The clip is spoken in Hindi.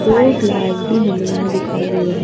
दो ग्लास भी हमे यहां दिखाई दे रहे--